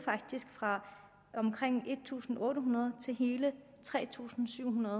fra omkring en tusind otte hundrede til hele tre tusind syv hundrede